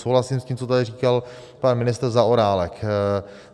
Souhlasím s tím, co tady říkal pan ministr Zaorálek.